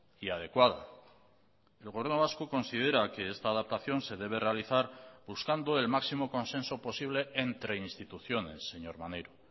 y adecuada el gobierno vasco considera que esta adaptación se debe realizar buscando el máximo consenso posible entre instituciones señor maneiro